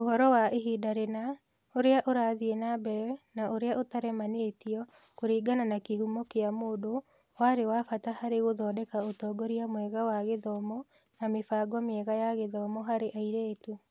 Ũhoro wa ihinda rĩna, ũrĩa ũrathiĩ na mbere, na ũrĩa ũtaremanĩtio kũringana na kĩhumo kĩa mũndũ, warĩ wa bata harĩ gũthondeka ũtongoria mwega wa gĩthomo na mĩbango mĩega ya gĩthomo harĩ airĩtu.